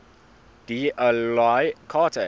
d oyly carte